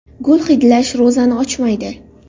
Gul hidlash ro‘zani ochmaydi.